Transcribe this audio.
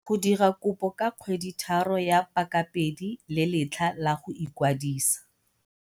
Go dira kopo ka kgweditharo ya pakapedi le letlha la go ikwadisa.